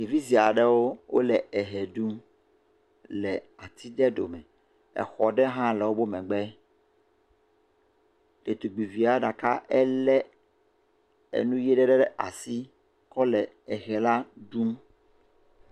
Ɖevi sue aɖewo ehe ɖum le ati ɖe ɖome, exɔ ɖe hã le wobe megbe, ɖetugbuivia ɖeka elé enu ye ɖe ɖe asi kɔ le ehe la ɖum.